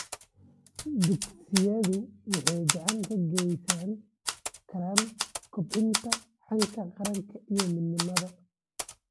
Dugsiyadu waxay gacan ka geysan karaan kobcinta hanka qaranka iyo midnimada .